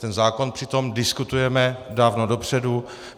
Ten zákon přitom diskutujeme dávno dopředu.